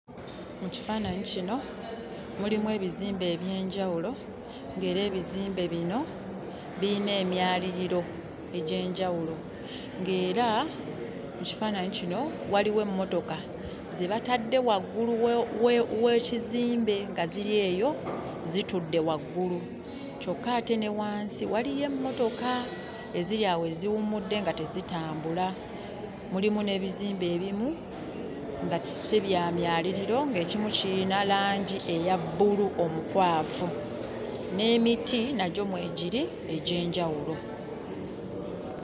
Mu kifaananyi kino mulimu ebizimbe eby'enjawulo ng'era ebizimbe bino biyina emyaliriro egy'enjawulo, ng'era mu kifaananyi kino waliwo emmotoka ze batadde waggulu we w'ekizimbe nga ziri eyo zitudde waggulu. Kyokka ate ne wansi waliyo emmotoka eziri awo eziwummudde nga tezitambula. Mulimu n'ebizimbe ebimu nga si bya myaliriro, ng'ekimu kirina langi eya bbulu omukwafu n'emiti nagyo mwegiri egy'enjawulo.